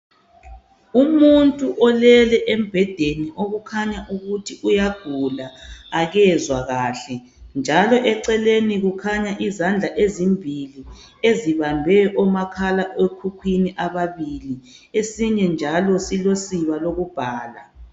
Umuntu olele embhedeni okukhanya ukuthi uyagula akezwa kahle njalo eceleni kukhanya izandla ezimbili ezibambe omakhalekhukhwini ababili esinye njalo silosiba lokubhala.